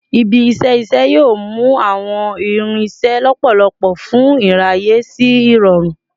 Ibi-iṣẹ iṣẹ yoo mu awọn irinṣẹ lọpọlọpọ fun iraye si irọrun